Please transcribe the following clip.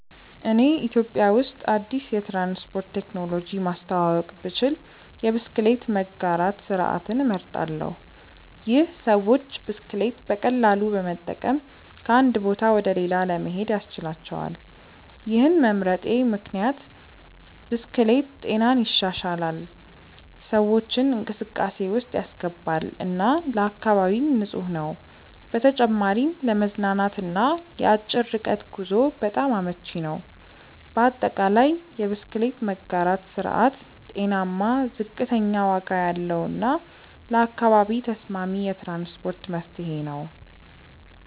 እኔ ኢትዮጵያ ውስጥ አዲስ የትራንስፖርት ቴክኖሎጂ ማስተዋወቅ ብችል የብስክሌት መጋራት ስርዓትን እመርጣለሁ። ይህ ሰዎች ብስክሌት በቀላሉ በመጠቀም ከአንድ ቦታ ወደ ሌላ ለመሄድ ያስችላቸዋል። ይህን መምረጤ ምክንያት ብስክሌት ጤናን ይሻሻላል፣ ሰዎችን እንቅስቃሴ ውስጥ ያስገባል እና ለአካባቢም ንፁህ ነው። በተጨማሪም ለመዝናናት እና ለአጭር ርቀት ጉዞ በጣም አመቺ ነው። በአጠቃላይ፣ የብስክሌት መጋራት ስርዓት ጤናማ፣ ዝቅተኛ ዋጋ ያለው እና ለአካባቢ ተስማሚ የትራንስፖርት መፍትሄ ነው።